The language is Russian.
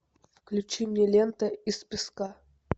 включи мне лента из песка